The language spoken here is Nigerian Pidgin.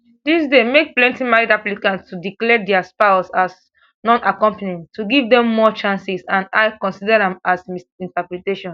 dis dey make plenti married applicants to declare dia spouses as nonaccompanying to give dem more chances and ircc consida am as misrepresentation